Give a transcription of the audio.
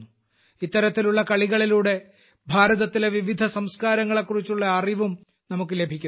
ഇത്തരത്തിലുള്ള കളികളിലൂടെ ഭാരതത്തിലെ വിവിധ സംസ്ക്കാരങ്ങലെക്കുറിച്ചുള്ള അറിവും നമുക്ക് ലഭിക്കുന്നു